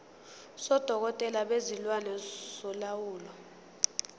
sodokotela bezilwane solawulo